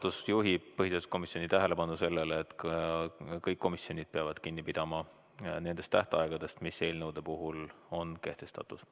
Juhatus juhib põhiseaduskomisjoni tähelepanu sellele, et kõik komisjonid peavad kinni pidama nendest tähtaegadest, mis eelnõude puhul on kehtestatud.